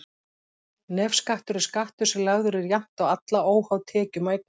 Nefskattur er skattur sem lagður er jafnt á alla, óháð tekjum og eignum.